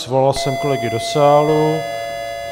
Svolal jsem kolegy do sálu.